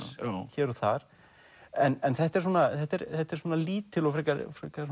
hér og þar en þetta er þetta er þetta er lítil og frekar